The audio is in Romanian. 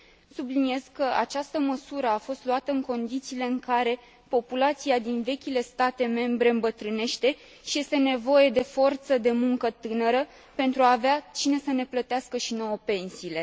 Subliniez că această măsură a fost luată în condițiile în care populația din vechile state membre îmbătrânește și este nevoie de forță de muncă tânără pentru a avea cine să ne plătească și nouă pensiile.